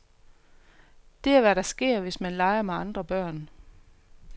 Det er hvad der sker, hvis man leger med andre børn.